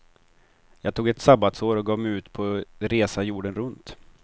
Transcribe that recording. Jag tog ett sabbatsår och gav mig ut på resa jorden runt.